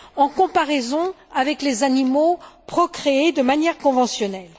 en comparaison avec les animaux procréés de manière conventionnelle.